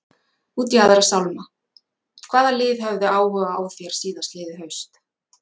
Út í aðra sálma, hvaða lið höfðu áhuga á þér síðastliðið haust?